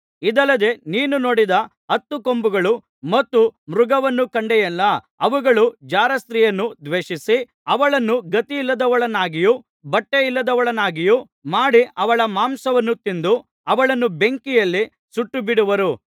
ಇದಲ್ಲದೆ ನೀನು ನೋಡಿದ ಹತ್ತು ಕೊಂಬುಗಳು ಮತ್ತು ಮೃಗವನ್ನು ಕಂಡೆಯಲ್ಲ ಅವುಗಳು ಜಾರಸ್ತ್ರೀಯನ್ನು ದ್ವೇಷಿಸಿ ಅವಳನ್ನು ಗತಿಯಿಲ್ಲದವಳನ್ನಾಗಿಯೂ ಬಟ್ಟೆ ಇಲ್ಲದವಳನ್ನಾಗಿಯೂ ಮಾಡಿ ಅವಳ ಮಾಂಸವನ್ನು ತಿಂದು ಅವಳನ್ನು ಬೆಂಕಿಯಲ್ಲಿ ಸುಟ್ಟುಬಿಡುವರು